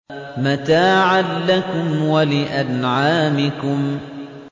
مَتَاعًا لَّكُمْ وَلِأَنْعَامِكُمْ